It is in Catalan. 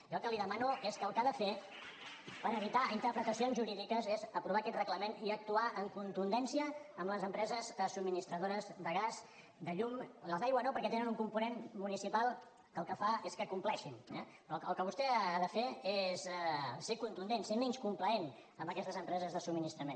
jo el que li demano és que el que ha de fer per evitar interpretacions jurídiques és aprovar aquest reglament i actuar amb contundència amb les empreses subministradores de gas de llum amb les d’aigua no perquè tenen un component municipal que el que fa és que compleixin eh però el que vostè ha de fer és ser contundent ser menys complaent amb aquestes empreses de subministrament